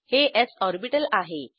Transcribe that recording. हे s orbital आहे